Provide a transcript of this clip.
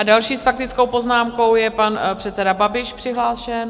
A další s faktickou poznámkou je pan předseda Babiš přihlášen.